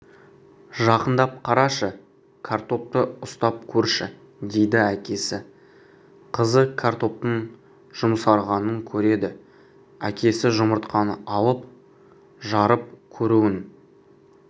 жақындап қарашы картопты ұстап көрші дейді әкесі қызы картоптың жұмсарғанын көреді әкесі жұмыртқаны алып жарып көруін